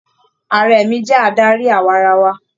Ààrẹ mí jẹ adarí awarawa.